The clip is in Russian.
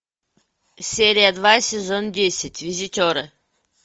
серия два сезон десять визитеры